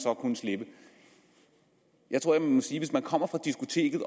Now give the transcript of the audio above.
kunne slippe jeg tror jeg må sige at hvis man kommer fra diskoteket